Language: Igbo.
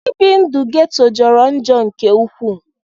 Ibi ndu ghetto jọrọ njọ nke ukwu.